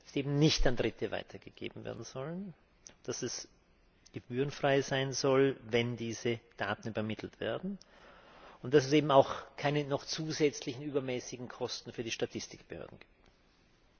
die eben nicht an Dritte weitergegeben werden sollen, dass es gebührenfrei sein soll, wenn diese Daten übermittelt werden, und dass es eben auch keine noch zusätzlichen übermäßigen Kosten für die Statistikbehörden gibt.